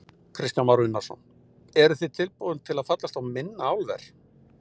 Kristján Már Unnarsson: Eruð þið tilbúin til að fallast á minna álver?